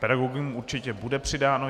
Pedagogům určitě bude přidáno.